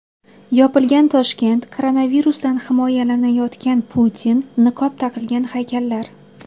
Yopilgan Toshkent, koronavirusdan himoyalanayotgan Putin, niqob taqilgan haykallar.